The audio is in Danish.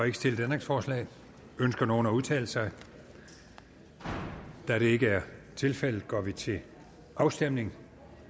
ikke stillet ændringsforslag ønsker nogen at udtale sig da det ikke er tilfældet går vi til afstemning